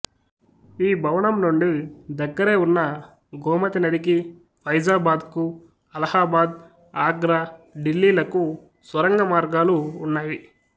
ఈ భవనం నుండి దగ్గరే ఉన్న గోమతి నదికి ఫైజాబాద్ కు అలహాబాద్ ఆగ్రా ఢిల్లీలకు స్వరంగ మార్గాలు ఉన్నాయి